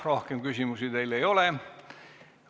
Rohkem küsimusi teile ei ole.